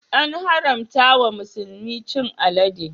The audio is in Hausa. An haramta wa musulmi chin alade.